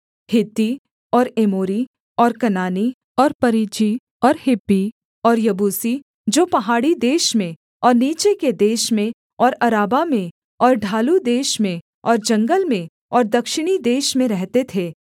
हित्ती और एमोरी और कनानी और परिज्जी और हिब्बी और यबूसी जो पहाड़ी देश में और नीचे के देश में और अराबा में और ढालू देश में और जंगल में और दक्षिणी देश में रहते थे